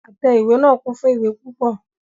Àtẹ ìwé náà kún fún ìwé púpọ.